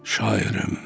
Şairim.